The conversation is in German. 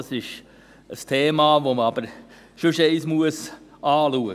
Das ist aber ein Thema, das man sonst einmal anschauen muss.